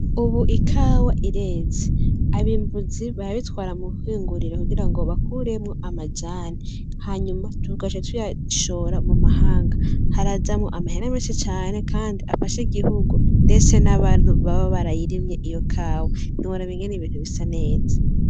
Ubu ikawa irezi abimbuzi bayabitwara muhingurire kugira ngo bakuremwo amajane hanyuma tukase tuyashora mu mahanga harajamwo amahera menshi cane, kandi afashe igihugu ndese n'abantu baba barayirimye iyo kawa niora bingene ibintu bisa neza.